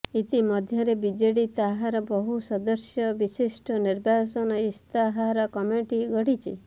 ଇତି ମଧ୍ୟରେ ବିଜେଡି ତାହାର ବହୁ ସଦସ୍ୟ ବିଶିଷ୍ଟ ନିର୍ବାଚନ ଇସ୍ତାହାର କମିଟି ଗଢିଛି